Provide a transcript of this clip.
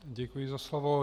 Děkuji za slovo.